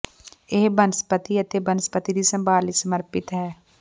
ਇਹ ਬਨਸਪਤੀ ਅਤੇ ਬਨਸਪਤੀ ਦੀ ਸੰਭਾਲ ਲਈ ਸਮਰਪਿਤ ਹੈ